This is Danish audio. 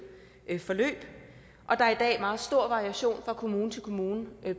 forløb og der er i dag er meget stor variation fra kommune til kommune